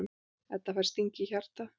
Edda fær sting í hjartað.